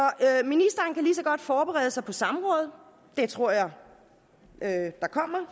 godt forberede sig på samråd det tror jeg at der kommer